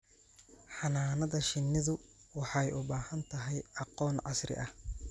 Xannaanada shinnidu waxay u baahan tahay aqoon casri ah.